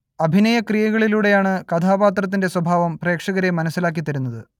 അഭിനയ ക്രിയകളിലൂടെയാണ് കഥാപാത്രത്തിന്റെ സ്വഭാവം പ്രേക്ഷകരെ മനസ്സിലാക്കിതരുന്നത്